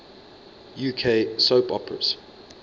uk soap operas